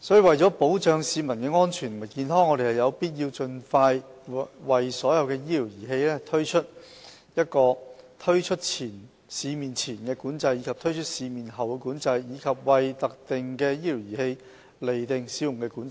為保障市民安全和健康，我們有必要盡快為所有醫療儀器推行"推出市面前的管制"及"推出市面後的管制"，以及為特定的醫療儀器釐定"使用管制"。